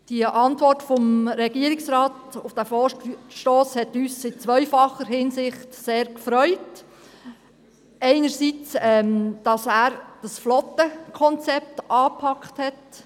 Die Antwort des Regierungsrates auf diesen Vorstoss hat uns in zweifacher Hinsicht sehr gefreut, einerseits, weil er das Flottenkonzept angepackt hat.